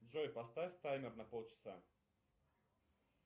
джой поставь таймер на пол часа